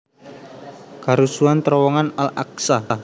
Karusuhan terowongan Al Aqsa